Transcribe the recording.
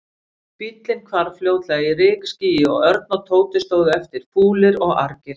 Bíllinn hvarf fljótlega í rykskýi og Örn og Tóti stóðu eftir, fúlir og argir.